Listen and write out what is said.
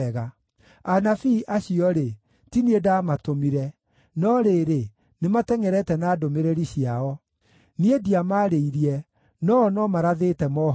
Anabii acio-rĩ, ti niĩ ndaamatũmire, no rĩrĩ, nĩmatengʼerete na ndũmĩrĩri ciao; niĩ ndiamaarĩirie, no-o no marathĩte mohoro.